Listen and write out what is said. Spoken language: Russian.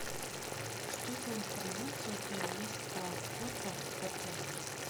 что за информация у тебя есть про охоту в отеле